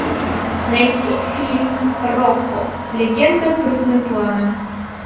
найти фильм рокко легенда крупным планом